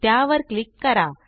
त्यावर क्लिक करा